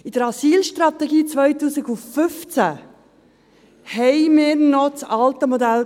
In der Asylstrategie 2015 hatten wir noch das alte Modell.